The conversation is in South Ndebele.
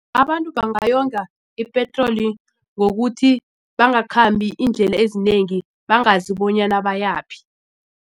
Abantu bangayonga ipetroli ngokuthi bangakhambi iindlela ezinengi bangazi bonyana bayaphi.